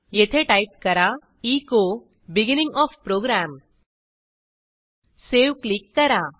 येथे टाईप करा echo beginning O F program save click करा